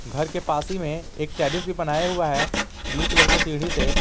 घर के पास ही में एक टेडिस भी बनाया हुआ है ब्लू कलर के सीढ़ी से --